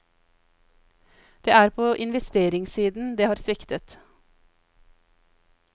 Det er på investeringssiden det har sviktet.